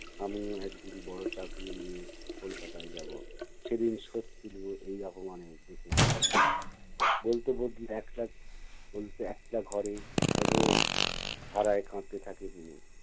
আমিও একদিন বড় চাকরি নিয়ে কলকাতায় যাবো। সেদিন শোধ তুলবো এই অপমানের দেখে নিও। বলতে বতলে একলা বলতে একলা ঘরে অঝোর ধারায় কাঁদতে থাকে তনু।